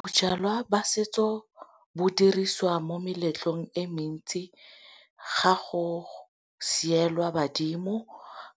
Bojalwa ba setso bo diriswa mo meletlong e mentsi ga go sielwa badimo